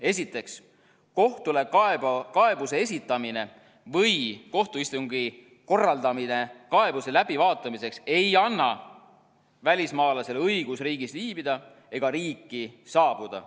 Esiteks, kohtule kaebuse esitamine või kohtuistungi korraldamine kaebuse läbivaatamiseks ei anna välismaalasele õigust riigis viibida ega riiki saabuda.